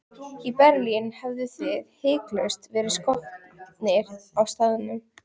Í Berlín hefðuð þið hiklaust verið skotnir á staðnum.